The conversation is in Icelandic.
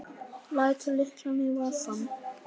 Lætur lyklana í vasann.